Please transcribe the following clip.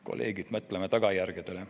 Kolleegid, mõtleme tagajärgedele.